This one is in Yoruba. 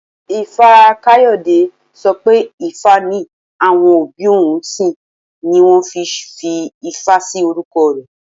Ifá-Kayode sọ pé ifá ni àwọn òbí òun ń sìn ni wón ṣe fi Ifá sí orúkọ rẹ̀.